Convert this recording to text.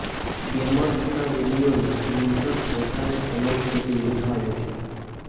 ગેમર્સના વિડિયોને યુઝર્સ વધારે સમય સુધી નિહાળે છે